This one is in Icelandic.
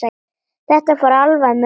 Þetta fór alveg með ömmu.